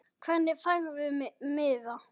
Hvernig færðu miða?